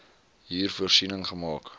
hier voorsiening gemaak